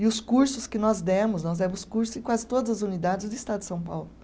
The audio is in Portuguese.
E os cursos que nós demos, nós demos cursos em quase todas as unidades do Estado de São Paulo.